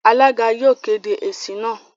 Alága yóò kéde èsì náà.